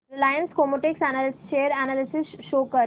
Reliance Chemotex share analysis show कर